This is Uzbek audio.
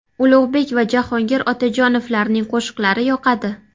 Ulug‘bek va Jahongir Otajonovlarning qo‘shiqlari yoqadi.